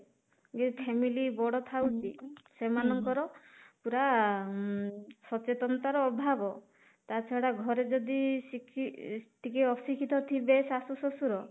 ଯିଏ family ବଡ଼ ଥାଉଛି ସେମାନଙ୍କର ପୁରା ଉମ ସଚେତନତା ର ଅଭାବ ତା ଛଡା ଘରେ ଯଦି ଟିକେ ଅଶିକ୍ଷିତ ଥିବେ ଶାଶୁ ଶଶୁର